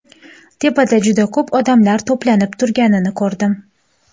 Tepada juda ko‘p odamlar to‘planib turganini ko‘rdim.